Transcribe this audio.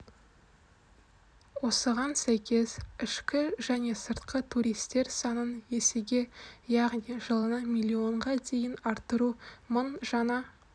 осыған сәйкес ішкі және сыртқы туристер санын есеге яғни жылына миллионға дейін арттыру мың жаңа